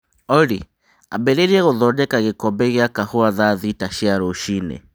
Olly, ambĩrĩria guthondeke gĩkombe gĩa kahũa thaa thita cia rũcinĩ